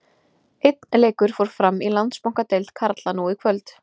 Suðurslavnesk eru: serbókróatíska, slóvenska, makedónska og búlgarska.